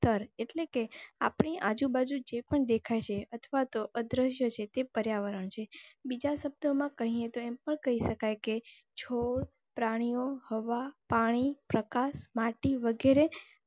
સ્તર એટલે કે આપની આજુબાજુ જે પણ દેખાય છે અથવા તો અદ્રશ્ય છે તે પર્યાવરણ છે બીજા શબ્દોમાં કહીએ તો એમ કહી શકાય કે છોડ, પ્રાણીઓ, હવા, પાણી, પ્રકાશ, માટી વગેરે.